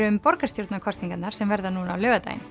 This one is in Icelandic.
um borgarstjórnarkosningarnar sem verða núna á laugardaginn